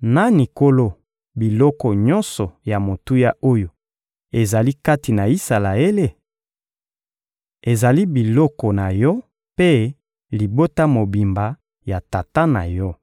nani nkolo biloko nyonso ya motuya oyo ezali kati na Isalaele? Ezali biloko na yo mpe libota mobimba ya tata na yo.